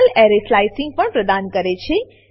Perl array slicing slicing પણ પ્રદાન કરે છે